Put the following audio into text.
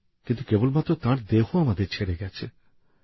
কিন্তু শুধু তাঁর দেহই আমাদের ছেড়ে গেছে